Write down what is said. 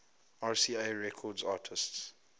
rca records artists